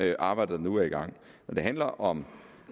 det arbejde der nu er i gang når det handler om